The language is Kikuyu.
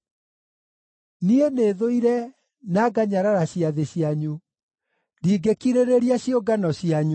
“Niĩ nĩthũire na nganyarara ciathĩ cianyu; ndingĩkirĩrĩria ciũngano cianyu.